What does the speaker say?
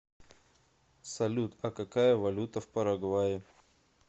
салют а какая валюта в парагвае